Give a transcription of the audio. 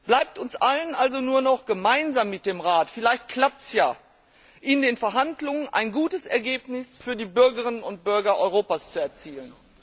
Bleibt uns allen also nur noch, gemeinsam mit dem Rat vielleicht klappt es ja in den Verhandlungen ein gutes Ergebnis für die Bürgerinnen und Bürger Europas zu erzielen.